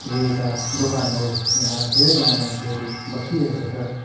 यो एउटा दोकान हो यहाँ धेरैजना मान्छेहरु बसिरहेको छ।